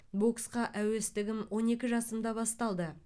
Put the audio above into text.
боксқа әуестігім он екі жасымда басталды